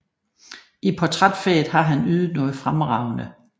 I portrætfaget har han ydet noget fremragende